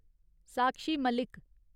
साक्षी मालिक